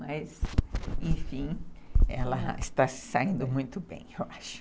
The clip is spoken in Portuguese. Mas, enfim, ela está se saindo muito bem, eu acho.